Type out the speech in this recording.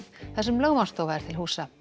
þar sem lögmannsstofa er til húsa